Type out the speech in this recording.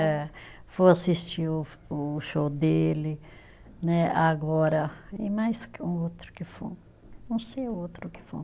É. Fui assistir o o show dele, né, agora, e mais que um outro que, não sei o outro que